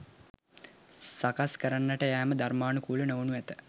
සකස් කරන්නට යෑම ධර්මානුකූල නොවනු ඇත